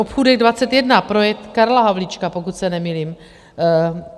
Obchůdek 21 - projekt Karla Havlíčka, pokud se nemýlím.